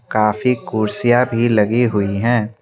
काफी कुर्सियां भी लगी हुई हैं।